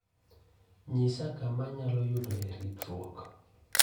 Nyisa kama anyalo yudoe ritruok.